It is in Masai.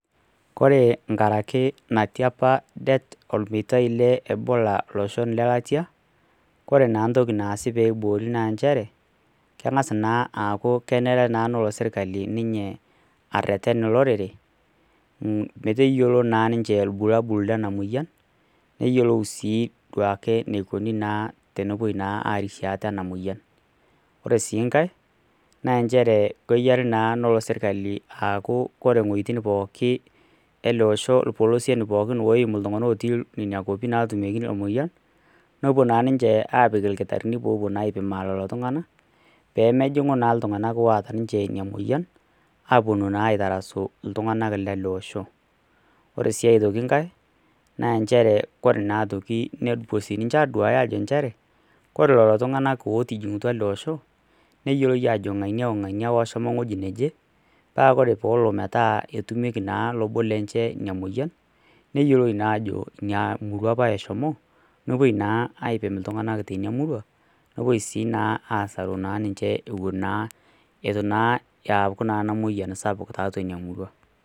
Koree nkaraki natiapa det olmeitai le Ebola iloshon le latia ,koree naa ntoki naasi pee eiboori naa nchere keng'aas na aaaku kenare naa nelo sirikali arreten olorere meteyolo naa ninche irbulabul lenaa moyian neyelou sii duake enekuni naa tenepoi naa arishie ate ena moyian . Oree sii nkaae naa nchere keyial naa nelo sirikali akuu oree ng'oitin pookin elee osho ilpolosien pookin oimuu iltung'anaak ooti nena kuapin naati ina moyian neepuo naa ninche aapik ilkitarini peepuo naa ninche aaipin lelo tung'anak , peemeing'u naa iltung'anaak oataa ina moyian , aaponu naa aitarasu iltung'anaak leele osho , ooree sii aitoki nkae naa nchere koree lelo tung'anaak otijing'utua ele oshoo neyieloi ajo ng'ania oo ng'ania oshomo ewoji naaje paa oree na peelo ajo etumieki naa lobo lenye ina moyian neyioloi naa ajo ina murua apa eshomo neepoi naa aipin iltung'anak tina murua , neepoi naa sii asaru naa ninche ituu naa eeku naa ina moyian sapuk tina murua.